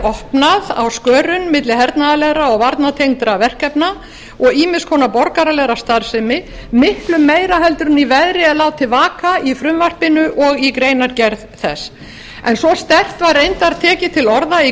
opnað á skörin milli hernaðarlegra og varnartengdra verkefna og ýmiss konar borgaralegrar starfsemi miklu meira en í veðri er látið vaka í frumvarpinu og í greinargerð þess en svo sterkt var reyndar tekið til orða í